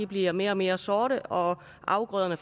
bliver mere og mere sorte og at afgrøderne